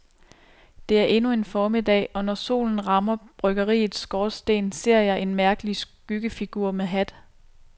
Det er endnu formiddag og når solen rammer bryggeriets skorsten ser jeg en mærkelig skyggefigur med hat.